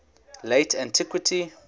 late antiquity